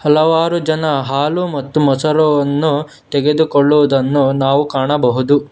ಹಲವಾರು ಜನ ಹಾಲು ಮತ್ತು ಮೊಸರು ಅನ್ನು ತೆಗೆದುಕೊಳ್ಳುವುದನ್ನು ನಾವು ಕಾಣಬಹುದು.